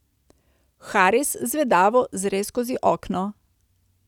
Haris zvedavo zre skozi okno.